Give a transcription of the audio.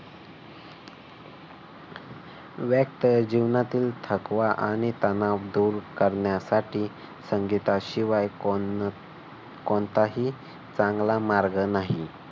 व्यस्त जीवनातील थकवा आणि तणाव दूर करण्यासाठी संगीताशिवाय कोण अह कोणताही चांगला मार्ग नाही.